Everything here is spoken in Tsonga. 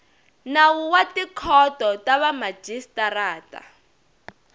nawu wa tikhoto ta vamajisitarata